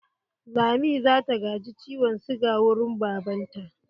Lami zata gaji ciwon siga wurin baban ta.